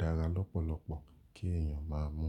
dára lọ́pọ̀lọpọ̀ kí ẹ̀yàn máa mú.